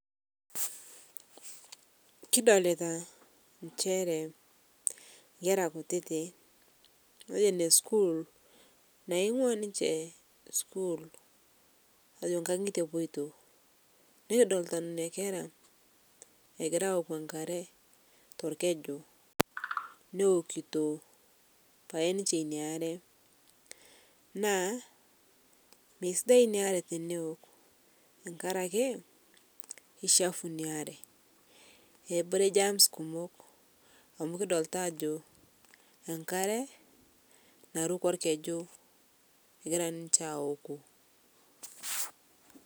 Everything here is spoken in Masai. Kidolitaa nchere nkera kutitii metejo ne school naing'ua ninshe school matejo nkang'ite epoitoo nikidoltaa nenia kera egira awok nkaree tolkeju newokito pai ninshe inia aree naa meisidai inia aree tenewok tankarakee keichapuu inia aree eboree germs kumoo amu kidolita ajo nkare narukoo elkeju egira ninshe awok.